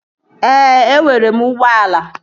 Ee, enwere m ụgbọala